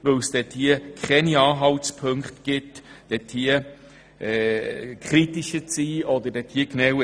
Es gibt keine Anhaltspunkte, die Anlass zu einer kritischeren Betrachtung geben.